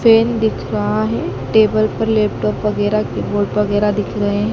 फेन दिख रहा है टेबल पर लैपटॉप वगैरा कीबोर्ड वगैरा दिख रहे हैं।